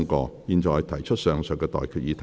我現在向各位提出上述待決議題。